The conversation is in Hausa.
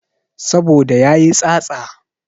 Saboda yayi tsatsa